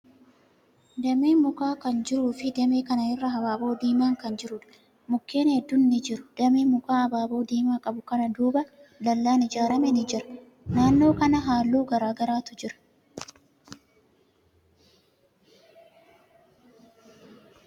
Dameen mukaa kan jiruu fi damee kana irra habaaboo diiman kan jiruudha. Mukkeen hedduun ni jiru. Damee mukaa habaaboo diimaa qabu kana duuba, dallaan ijaarame ni jira. Naannoo kana halluu garagaraatu jira.